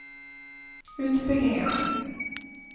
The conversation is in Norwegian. utbygginger